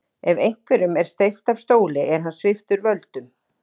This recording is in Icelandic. Ef einhverjum er steypt af stóli er hann sviptur völdum.